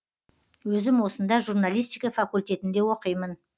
өзім осында журналистика факультетінде оқимын